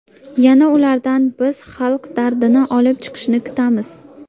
Yana ulardan biz xalq dardini olib chiqishni kutamiz.